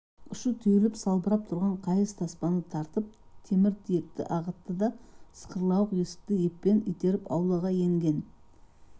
ұшы түйіліп салбырап тұрған қайыс таспаны тартып темір тиекті ағытты да сықырлауық есікті еппен итеріп аулаға енген